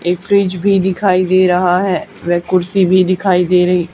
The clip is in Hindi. एक फ्रिज भी दिखाई दे रहा है वे कुर्सी भी दिखाई दे रही।